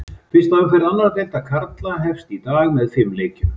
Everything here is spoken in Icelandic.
Fyrsta umferð annar deildar karla hefst í dag með fimm leikjum.